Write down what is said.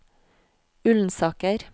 Ullensaker